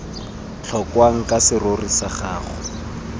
tlhokwang ke serori sa gago